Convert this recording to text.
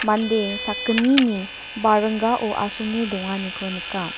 mande sakgnini baringgao asonge donganiko nika.